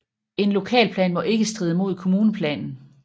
En lokalplan må ikke stride mod kommuneplanen